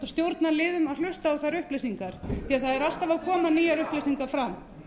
að hlusta á þær upplýsingar því það eru alltaf að koma nýjar upplýsingar fram